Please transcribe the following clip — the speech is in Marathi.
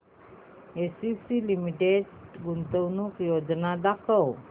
एसीसी लिमिटेड गुंतवणूक योजना दाखव